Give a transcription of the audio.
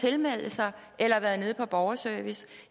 tilmelde sig eller været nede på borgerservice